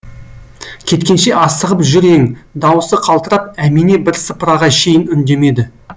кеткенше асығып жүр ең дауысы қалтырап әмине бірсыпыраға шейін үндемеді